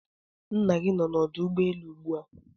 Nna gi ọnọ na ọdụ ụgbọelụ ụgbụa?